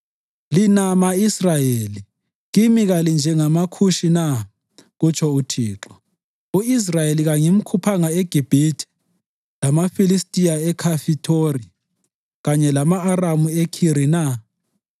“Lina ma-Israyeli, kimi kalinjengamaKhushi na?” kutsho uThixo. “U-Israyeli kangimkhuphanga eGibhithe, lamaFilistiya eKhafithori, kanye lama-Aramu eKhiri na?